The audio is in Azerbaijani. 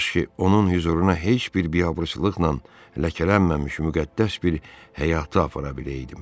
Kaş ki, onun hüzuruna heç bir biabırçılıqla ləkələnməmiş müqəddəs bir həyatı apara biləydim.